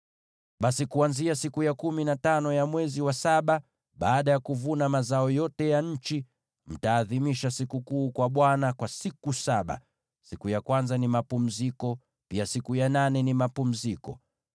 “ ‘Basi kuanzia siku ya kumi na tano ya mwezi wa saba, baada ya kuvuna mazao yote ya nchi, mtaadhimisha sikukuu kwa Bwana kwa siku saba; siku ya kwanza ni mapumziko, pia siku ya nane ni mapumziko.